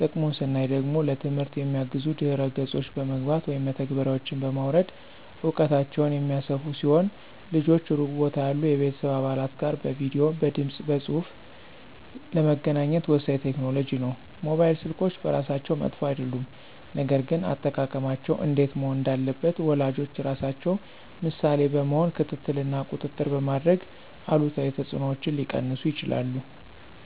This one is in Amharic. ጥቅሙን ስናይ ደግሞ ለትምህርት የሚያግዙ ድህረ ገጾች በመግባት (መተግበሪያዎችን) በማውረድ እውቀታቸውን የሚያሰፉ ሲሆን ልጆች ሩቅ ቦታ ያሉ የቤተሰብ አባላት ጋር በቪዲዬ፣ በድምፅ በፁሁፍ ለመገናኘት ወሳኝ ቴክኖሎጂ ነው። ሞባይል ስልኮች በራሳቸው መጥፎ አይደሉም፣ ነገር ግን አጠቃቀማቸው እንዴት መሆን እንዳለበት ወላጆች ራሳቸው ምሳሌ በመሆን ክትትል እና ቁጥጥር በማድረግ አሉታዊ ተጽዕኖዎችን ሊቀንሱ ይችላሉ።